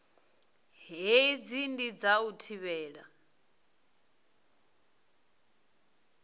hei ndi dza u thivhela